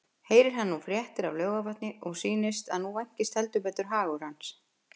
Heyrir hann nú fréttir af Laugarvatni og sýnist að nú vænkist heldur betur hans hagur.